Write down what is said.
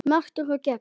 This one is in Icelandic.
Merkur og gegn.